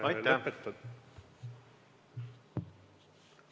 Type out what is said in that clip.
Aitäh!